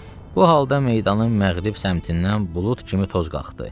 Bu halda meydanın məğrib səmtindən bulud kimi toz qalxdı.